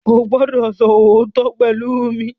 O gbọdọ so ootọ pẹlú mí!